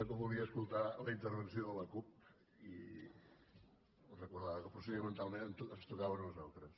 que volia escoltar la intervenció de la cup i no recordava que procedimentalment ens tocava a nosaltres